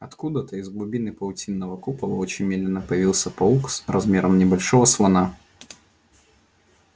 откуда-то из глубины паутинного купола очень медленно появился паук размером с небольшого слона